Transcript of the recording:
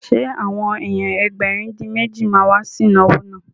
Ṣé àwọn èèyàn Ẹgbẹ̀rin-dín-méjì ma wá sí ìnáwó náà?